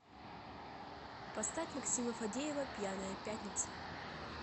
поставь максима фадеева пьяная пятница